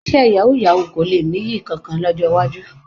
Iṣẹ́ yàwúú-yawuù kò le nìyí kankan lọ́jọ́ iwájú.